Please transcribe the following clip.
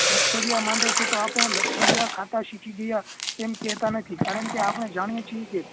લથડીયા માંડે છે તો આપણે લથડિયાં ખાતા શીખી ગયા તેમ કેહતા નથી કારણ કે આપણે જાણીએ છીએ કે